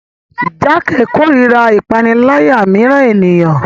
Jake korira ipanilaya miiran eniyan